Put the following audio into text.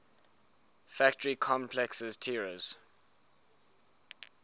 factory complexes tiraz